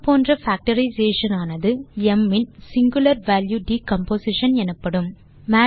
இது போன்ற பேக்டரைசேஷன் ஆனது ம் இன் singular வால்யூ டிகம்போசிஷன் எனப்படும்